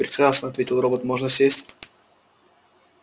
прекрасно ответил робот можно сесть